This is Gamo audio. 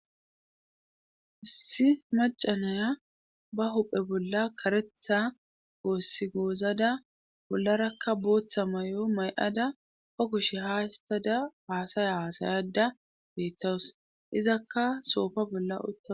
issi macanaya ba huphe bolla karetha goossi goozada bollarakka booththa may7o may7ada o kushe ha histada haasaya haasayada beettawus izakka soofa bolla utta